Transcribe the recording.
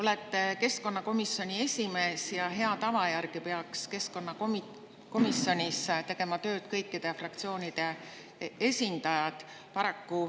Olete keskkonnakomisjoni esimees ja hea tava järgi peaks keskkonnakomisjonis tegema tööd kõikide fraktsioonide esindajad.